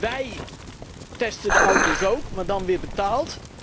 Wij testen de auto's ook, maar dan weer betaald.